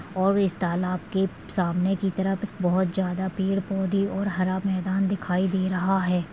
और इस तालाब के सामने की तरफ बहुत जादा पेड़ पौधे और हरा मैदान दिखाई दे रहा है |